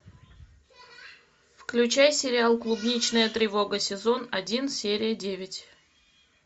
включай сериал клубничная тревога сезон один серия девять